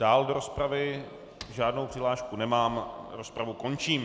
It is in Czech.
Dál do rozpravy žádnou přihlášku nemám, rozpravu končím.